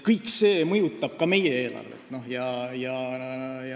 Kõik see mõjutab ka meie eelarvet.